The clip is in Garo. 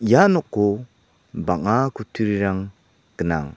ia noko bang·a kutturirang gnang.